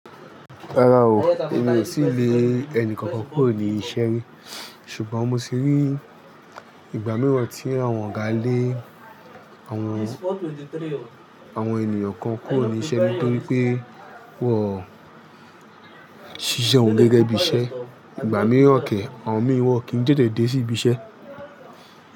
Rárá o, èmi ò tíì lé ẹni kankan kúrò ní iṣẹ́ rí, ṣùgbọ́n mo ti rí ìgbà mìíràn tí àwọn ọ̀gá lé àwọn, àwọn ènìyàn kan kúrò ní iṣẹ́ nítorí pé wọ́n ṣiṣẹ́ won gẹ́gẹ́ bí iṣẹ́. Ìgbà mìíràn ke, àwọn mìí won kí ń tètè dé sí ibi iṣẹ́.